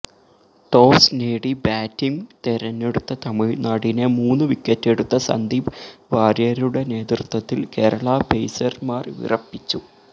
toss നേടി batting തെരഞ്ഞെടുത്ത തമിഴ്നാടിനെ മൂന്നു വിക്കറ്റെടുത്ത സന്ദീപ് വാര്യരുടെ നേതൃത്വത്തില് കേരളാ പെയ്സര്മാര് വിറപ്പിച്ചു